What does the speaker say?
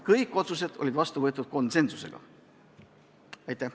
Kõik otsused võeti vastu konsensusega.